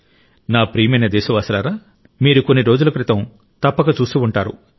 నా ప్రియమైన దేశవాసులారా మీరు కొన్ని రోజుల క్రితం తప్పక చూసి ఉంటారు